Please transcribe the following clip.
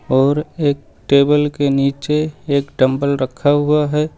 और एक टेबल के नीचे एक डम्बल रखा हुआ है।